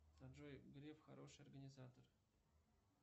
джой греф хороший организатор